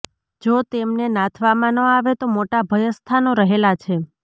જો તેમને નાથવામાં ન આવે તો મોટા ભયસ્થાનો રહેલાં છે